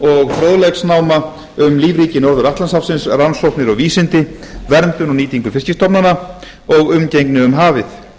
og fróðleiksnáma um lífríki norður atlantshafsins rannsóknir og vísindi verndun og nýtingu fiskstofnanna og umgengni um hafið